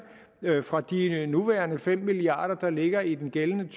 fra de nuværende fem milliard kr der ligger i den gældende